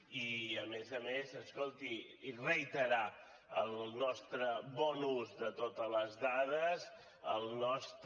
i a més a més escolti reiterar el nostre bon ús de totes les dades el nostre